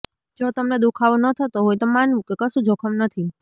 જો તમને દુખાવો ન થતો હોય તો માનવું કે કશું જોખમ નથી